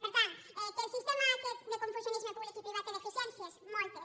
per tant que el sistema aquest de confusionisme públic i privat té deficiències moltes